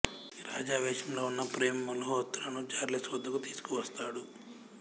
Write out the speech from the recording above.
రాజా వేషంలో ఉన్న ప్రేమ్ మల్హోత్రాను చార్లెస్ వద్దకు తీసుకువస్తాడు